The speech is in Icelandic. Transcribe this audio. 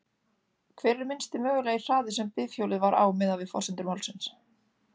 Hver er minnsti mögulegi hraði sem bifhjólið var á miðað við forsendur málsins?